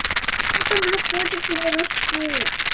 ну там же котики не растут